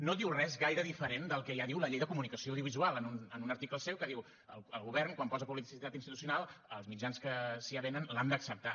no diu res gaire diferent del que ja diu la llei de comunicació audiovisual en un article seu que diu el govern quan posa publicitat institucional els mitjans que s’hi avenen l’han d’acceptar